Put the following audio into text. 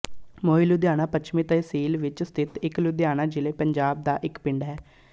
ਮੋਹੀ ਲੁਧਿਆਣਾ ਪੱਛਮੀ ਤਹਿਸੀਲ ਵਿਚ ਸਥਿਤ ਇਕ ਲੁਧਿਆਣਾ ਜ਼ਿਲ੍ਹੇ ਪੰਜਾਬ ਦਾ ਇੱਕ ਪਿੰਡ ਹੈ